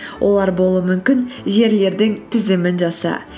олар болуы мүмкін жерлердің тізімін жаса